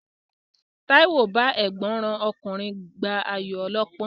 Táíwò bá ẹ̀gbọ́n rán ọkùnrin gbá ayò ọlọ́pọ́n